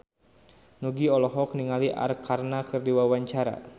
Nugie olohok ningali Arkarna keur diwawancara